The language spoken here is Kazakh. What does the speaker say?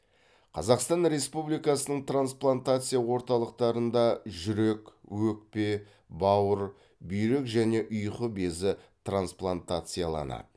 қазақстан республикасының трансплантация орталықтарында жүрек өкпе бауыр бүйрек және ұйқы безі трансплантацияланады